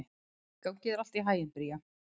Gangi þér allt í haginn, Bría.